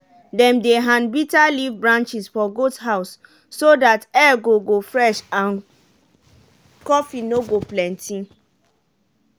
dem dey hand bitter leaf branches for goat house so that air go go fresh and coughing no go plenty.